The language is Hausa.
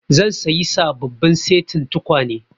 Zan sayi sababbin setin tukwane